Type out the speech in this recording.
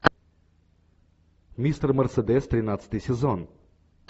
мистер мерседес тринадцатый сезон